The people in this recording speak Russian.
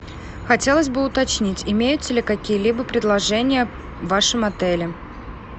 хотелось бы уточнить имеются ли какие либо предложения в вашем отеле